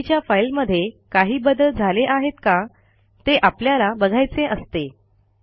आधीच्या फाईलमध्ये काही बदल झाले आहेत का ते आपल्याला बघायचे असते